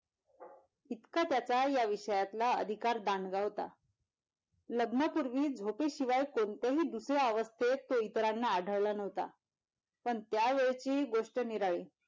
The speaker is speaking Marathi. इतकं त्या त्या या विषयातला अधिकारदांडगा होता लग्न पूर्वी झोपेशिवाय कोणतेही दुसऱ्या अवस्थेत तो इतरांना आढळला नव्हता पण त्या वेळची गोष्ट निराळी.